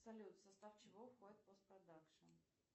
салют в состав чего входит постпродакшн